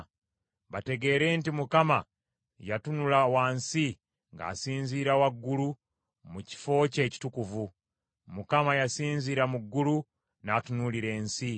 Bategeere nti Mukama yatunula wansi ng’asinziira waggulu mu kifo kye ekitukuvu; Mukama yasinzira mu ggulu n’atunuulira ensi,